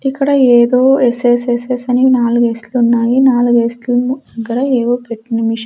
ఇక్కడ ఏదో ఎస్_ఎస్_ఎస్_ఎస్ అని నాలుగు ఏస్ లున్నాయి నాలుగు ఎస్ లేమో ఇక్కడ ఏవో పెట్టిన మిస్ --